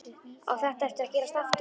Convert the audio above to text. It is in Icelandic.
Á þetta eftir að gerast aftur?